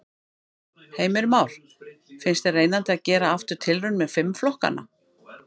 Heimir Már: Finnst þér reynandi að gera aftur tilraun með fimm flokkana?